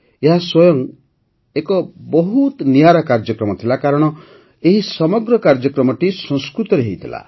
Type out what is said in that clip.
ଏହା ସ୍ୱୟଂ ଏକ ବହୁତ ନିଆରା କାର୍ଯ୍ୟକ୍ରମ ଥିଲା କାରଣ ଏହି ସମଗ୍ର କାର୍ଯ୍ୟକ୍ରମଟି ସଂସ୍କୃତରେ ହୋଇଥିଲା